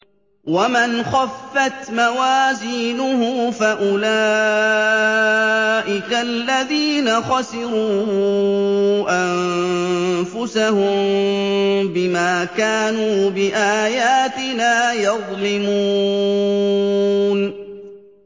وَمَنْ خَفَّتْ مَوَازِينُهُ فَأُولَٰئِكَ الَّذِينَ خَسِرُوا أَنفُسَهُم بِمَا كَانُوا بِآيَاتِنَا يَظْلِمُونَ